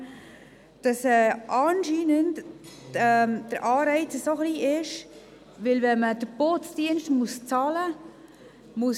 Anscheinend sei der Anreiz, die Hallen zu öffnen, so klein, weil die Schule den Putzdienst selber bezahlen müsse.